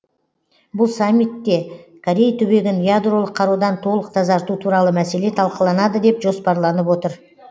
бұл саммитте корей түбегін ядролық қарудан толық тазарту туралы мәселе талқыланады деп жоспарланып отыр